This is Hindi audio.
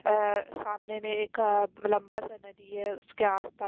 अह सामने में एक लंबा सा नदी है उसके आस पा--